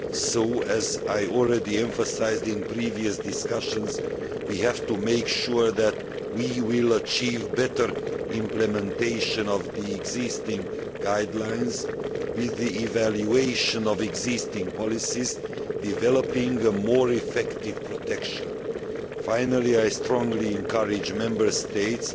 so, as I have already emphasised in previous discussions, we have to make sure that we achieve better implementation of the existing guidelines, with the evaluation of existing policies developing more effective protection. Finally, I strongly encourage Member States